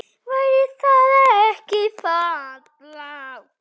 Væri það ekki fallegt?